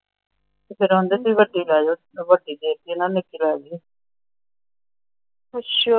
ਫੇਰ ਆਂਦੇ ਵੀ ਵੱਡੀ ਲੈ ਜਾਓ ਫਿਰ ਵੱਡੀ ਦੇਤੀ ਉਹਨਾਂ ਨੇ ਨਿੱਕੀ ਲੈ ਲਈ। ਅੱਛਾ! ਮੇਰੇ ਨਾਲ ਇਹਨਾਂ ਨੇ ਗੱਲ ਵੀ ਨਹੀਂ ਕੀਤੀ। ਉਹ ਤਾਂ ਗਈ ਸੀ ਵੈਸੇ ਗੱਲ ਕਰਨ ਡੈ ਪਏ।